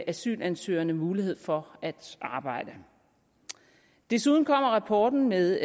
asylansøgerne mulighed for at arbejde desuden kommer rapporten med